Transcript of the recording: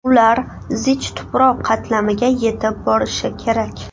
Ular zich tuproq qatlamiga yetib borishi kerak.